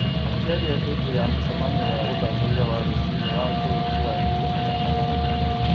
Akĩaria hĩndĩ ya mũcemanio wa ũthathaiya wa rũcinĩ wa bũrũri wa ikũmi na kanana,